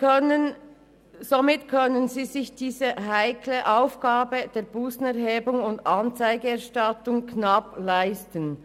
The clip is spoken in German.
Dadurch können sie die heikle Aufgabe der Bussenerhebung und Anzeigenerstattung knapp erbringen.